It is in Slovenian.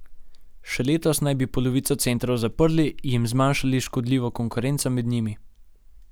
Še letos naj bi polovico centrov zaprli in zmanjšali škodljivo konkurenco med njimi.